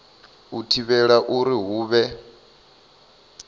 u thivhela uri hu vhe